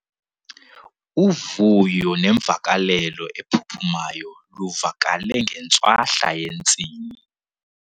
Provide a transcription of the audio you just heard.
Uvuyo nemvakalelo ephuphumayo luvakale ngentswahla yentsini.